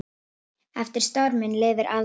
Eftir storminn lifir aldan.